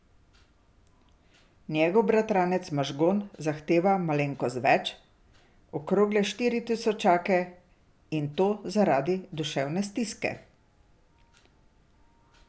Njegov bratranec Mažgon zahteva malenkost več, okrogle štiri tisočake, in to zaradi duševne stiske.